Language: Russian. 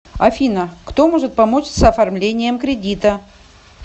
афина кто может помочь с оформлением кредита